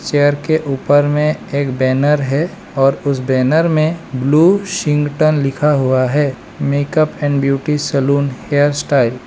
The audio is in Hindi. चेयर के ऊपर में एक बैनर है और उस बैनर में ब्लू शिंगटन लिखा हुआ है makeup and beauty salon hair style.